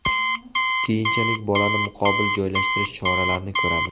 Keyinchalik bolani muqobil joylashtirish choralarini ko‘ramiz.